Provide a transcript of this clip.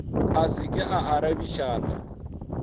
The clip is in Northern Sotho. a se ke a arabišana